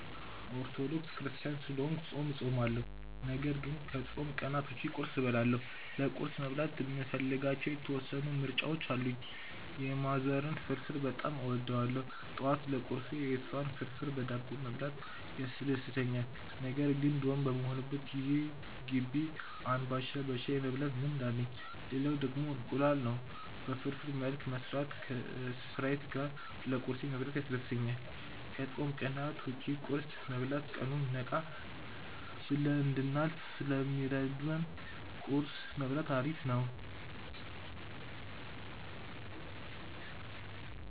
ኦርቶዶክስ ክርስትያን ስለሆንኩ ጾም እጾማለሁ ነገር ግን ከጾም ቀናት ውጪ ቁርስ እበላለሁ። ለቁርስ መብላት የምፈልጋቸው የተወሰኑ ምርጫዎች አሉኝ። የማዘርን ፍርፍር በጣም እወደዋለሁ ጠዋት ለቁርሴ የሷን ፍርፍር በዳቦ መብላት ያስደስተኛል። ነገር ግን ዶርም በምሆንበት ጊዜ ግቢ አንባሻ በሻይ የመብላት ልማድ አለኝ። ሌላው ደግሞ እንቁላል ነው። በፍርፍር መልክ መስራትና ከስፕራይት ጋር ለቁርሴ መብላት ያስደስተኛል። ከጾም ቀናት ውጭ ቁርስ መብላት ቀኑን ነቃ ብለን እንድናልፍ ስለሚረዳን ቁርስ መብላት አሪፍ ነው።